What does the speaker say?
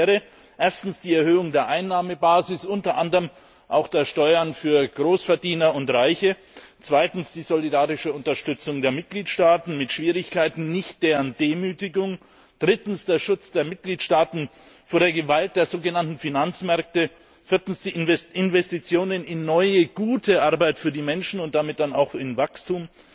Nötig wäre erstens die Erhöhung der Einnahmenbasis, unter anderem auch der Steuern für Großverdiener und Reiche, zweitens die solidarische Unterstützung der Mitgliedstaaten mit Schwierigkeiten, nicht deren Demütigung, drittens der Schutz der Mitgliedstaaten vor der Gewalt der so genannten Finanzmärkte, viertens Investitionen in neue, gute Arbeit für die Menschen und damit dann auch in Wachstum,